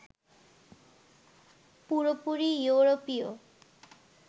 পুরোপুরি য়ুরোপীয়